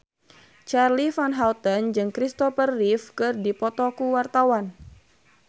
Charly Van Houten jeung Christopher Reeve keur dipoto ku wartawan